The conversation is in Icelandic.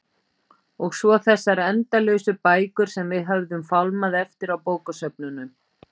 Og svo þessar endalausu bækur sem við höfðum fálmað eftir á bókasöfnunum.